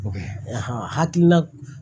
hakilina